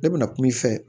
Ne bɛna kuma i fɛ